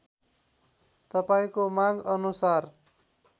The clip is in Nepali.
तपाईँको माग अनुसार